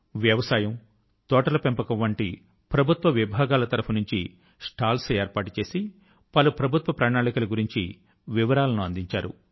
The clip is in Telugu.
వ్యవసాయం తోటల పెంపకం వంటి ప్రభుత్వ విభాగాల తరఫు నుంచి స్టాల్స్ ఏర్పాటు చేసి పలు ప్రభుత్వ ప్రణాళికల గురించి వివరాల ను అందించారు